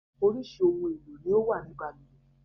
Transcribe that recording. Orísìí ohun èlò ni ó wà ní balùwẹ̀